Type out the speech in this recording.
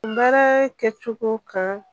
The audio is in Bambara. Baara kɛcogo kan